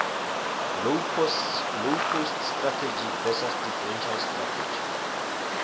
low cost strategy versus differential strategy